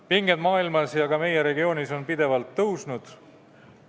Pinged maailmas ja ka meie regioonis on pidevalt kasvanud.